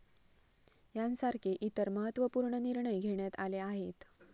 यांसारखे इतर महत्वपूर्ण निर्णय घेण्यात आले आहेत.